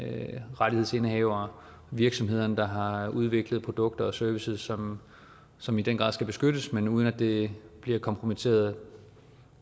rettighedsindehavere og virksomheder der har udviklet produkter og services som som i den grad skal beskyttes men uden at det bliver kompromitteret af